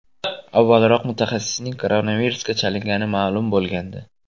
Avvalroq mutaxassisning koronavirusga chalingani ma’lum bo‘lgandi.